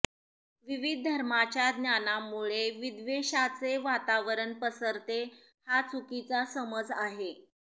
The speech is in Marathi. विविध धर्मांच्या ज्ञानामुळे विद्वेषाचे वातावरण पसरते हा चुकीचा समज आहे